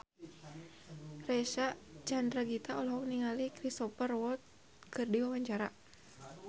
Reysa Chandragitta olohok ningali Cristhoper Waltz keur diwawancara